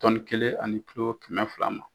ani kɛmɛ fila ma.